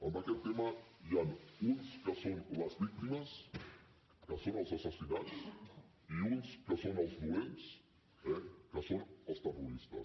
en aquest tema n’hi han uns que són les víctimes que són els assassinats i uns que són els dolents eh que són els terroristes